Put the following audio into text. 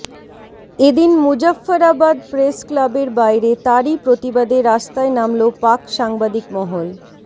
এদিন মুজফ্ফরাবাদ প্রেস ক্লাবের বাইরে তারই প্রতিবাদে রাস্তায় নামল পাক সাংবাদিক মহল